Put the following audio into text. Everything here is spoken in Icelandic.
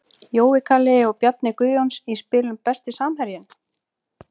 Jói Kalli og Bjarni Guðjóns í spilum Besti samherjinn?